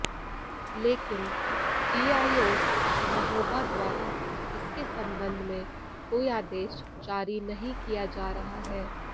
लेकिन डीआईओस महोबा द्वारा इसके संबंध में कोई आदेश जारी नही किया जा रहा है